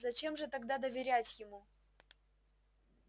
зачем же тогда доверять ему